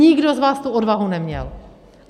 Nikdo z vás tu odvahu neměl.